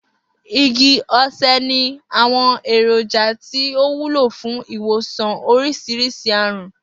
Igi osè ní àwo̩n èròjà tí ó wúlò fún ìwòsàn orís̩irís̩i àrùn